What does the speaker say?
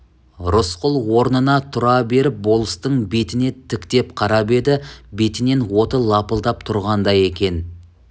рысқұл орнына тұра беріп болыстың бетіне тіктеп қарап еді бетінен оты лапылдап тұрғандай екен